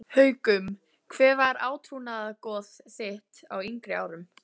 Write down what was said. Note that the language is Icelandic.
Haukum Hver var átrúnaðargoð þitt á yngri árum?